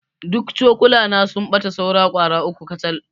Duk cokulana sun ɓata saura ƙwara uku kacal.